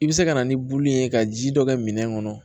I bɛ se ka na ni bulu ye ka ji dɔ kɛ minɛn kɔnɔ